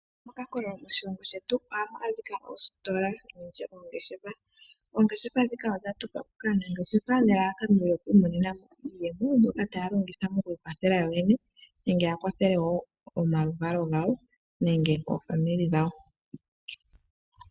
Okankolo moshilongo shetu ohaka adhika oositola nenge nditye oongeshefa. Oongeshefa dhika odha tulwa po kaanangeshefa nelalakano yoku imonena mo iiyemo. Mboka taya longitha moku ikwathela yo yene, nenge ya kwathele wo omaluvalo gawo nenge omazimo gawo.